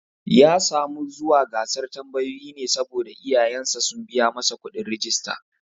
Ya samu zuwa gasar tambayoyin ne saboda iyayen sa sun biya masa kuɗin rijista